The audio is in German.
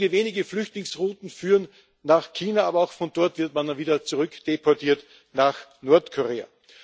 Einige wenige Flüchtlingsrouten führen nach China, aber auch von dort wird man wieder zurückdeportiert nach Nordkorea.